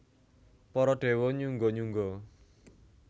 Para déwa nyungga nyungga